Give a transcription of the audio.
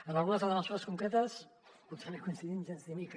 en algunes de les mesures concretes potser no hi coincidim gens ni mica